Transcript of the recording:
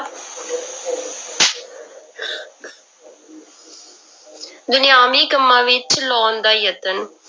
ਦੁਨੀਆਵੀ ਕੰਮਾਂ ਵਿੱਚ ਲਾਉਣ ਦਾ ਯਤਨ